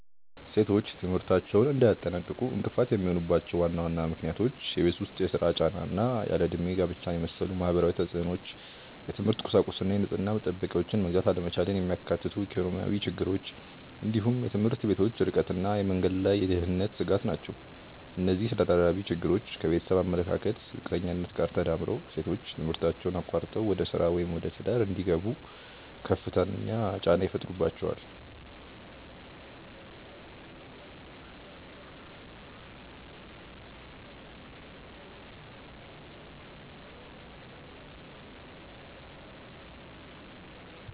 ሴቶች ትምህርታቸውን እንዳያጠናቅቁ እንቅፋት የሚሆኑባቸው ዋና ዋና ምክንያቶች የቤት ውስጥ ሥራ ጫና እና ያለ ዕድሜ ጋብቻን የመሰሉ ማህበራዊ ተፅዕኖዎች፣ የትምህርት ቁሳቁስና የንጽህና መጠበቂያዎችን መግዛት አለመቻልን የሚያካትቱ ኢኮኖሚያዊ ችግሮች፣ እንዲሁም የትምህርት ቤቶች ርቀትና የመንገድ ላይ የደህንነት ስጋት ናቸው። እነዚህ ተደራራቢ ችግሮች ከቤተሰብ አመለካከት ዝቅተኛነት ጋር ተዳምረው ሴቶች ትምህርታቸውን አቋርጠው ወደ ሥራ ወይም ወደ ትዳር እንዲገቡ ከፍተኛ ጫና ይፈጥሩባቸዋል።